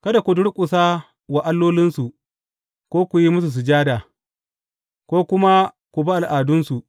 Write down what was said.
Kada ku durƙusa wa allolinsu, ko ku yi musu sujada, ko kuma ku bi al’adunsu.